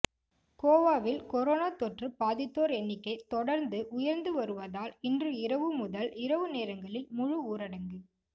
கோவாவில் கரோனா தொற்று பாதித்தோர் எண்ணிக்கை தொடர்ந்து உயர்ந்து வருவதால் இன்று இரவு முதல் இரவு நேரங்களில் முழு ஊரடங்கு